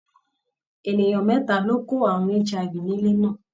Ènìyàn mẹ́ta ló kó àrùn HIV ní ilé náà.